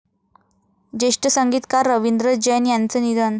ज्येष्ठ संगीतकार रवींद्र जैन यांचं निधन